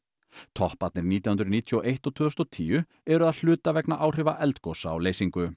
topparnir nítján hundruð níutíu og eitt og tvö þúsund og tíu eru að hluta vegna áhrifa eldgosa á